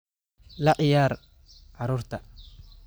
La ciyaar carruurta